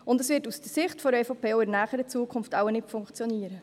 Das wird aus Sicht der EVP auch in der näheren Zukunft wohl nicht funktionieren.